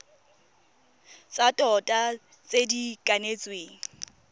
tsa tota tse di kanetsweng